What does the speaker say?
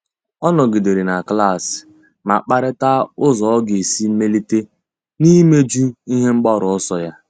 Ọ́ nọ́gídèrè na klas ma kparịta ụ́zọ́ ọ́ga esi mèlíté n’íméjú ihe mgbaru ọsọ ya.